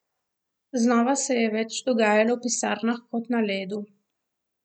Znova se je več dogajalo v pisarnah kot na ledu.